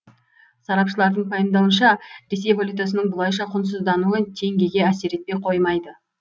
сарапшылардың пайымдауынша ресей валютасының бұлайша құнсыздануы теңгеге әсер етпей қоймайды